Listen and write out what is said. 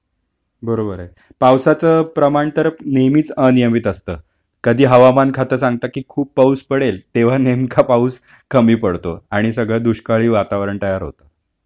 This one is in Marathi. बरोबर आहे पावसाच प्रमाण तर नेहमीच अनियमित असत कधी हवामान खात सांगत की खूप पाऊस पडेल की तेव्हा नेमका पाऊस...कमी पडतो आणि सगळ दुष्काळी वातावरण तयार होत.